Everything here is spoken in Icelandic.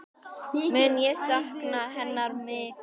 Mun ég sakna hennar mikið.